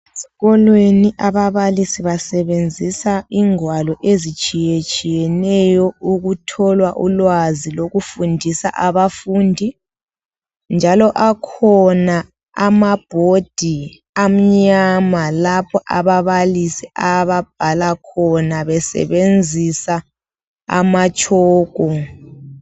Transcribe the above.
Ezikolweni ababalisi basebenzisa ingwalo ezitshiyetshiyeneyo ukuthola ulwazi lokufundisa abafundi njalo akhona amabhodi amnyama lapho ababalisi ababhala khona besebenzisa amatshoko.